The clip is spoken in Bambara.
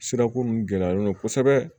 Sirako mun gɛlɛyalen don kosɛbɛ